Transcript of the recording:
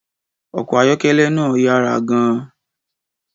Ọkọ̀ ayọ́kẹ́lẹ́ náà yára gan-an.